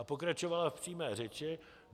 A pokračovala v přímé řeči: